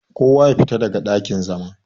Ko wa ya fita daga dakin-zama!